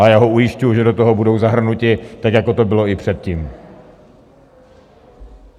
A já ho ujišťuji, že do toho budou zahrnuti, tak jako tomu bylo i předtím.